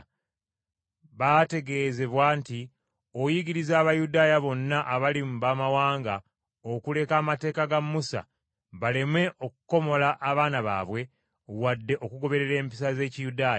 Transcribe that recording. Baategeezebwa nti oyigiriza Abayudaaya bonna abali mu Bamawanga okuleka amateeka ga Musa baleme okukomola abaana baabwe wadde okugoberera empisa z’Ekiyudaaya.